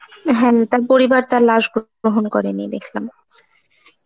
হ্যাম তার পরিবার তার লাশ গ্রহণ করেনি দেখলাম.